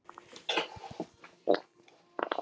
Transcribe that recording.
Ég er að spegla lífið.